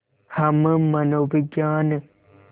हम मनोविज्ञान